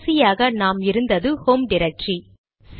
கடைசியாக நாம் இருந்தது ஹோம் டிரக்டரி